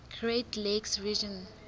great lakes region